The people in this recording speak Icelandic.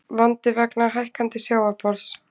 Vandi vegna hækkandi sjávarborðs